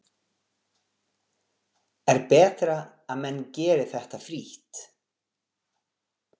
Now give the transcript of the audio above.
Er betra að menn geri þetta frítt?